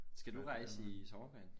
Skal du rejse i sommerferien?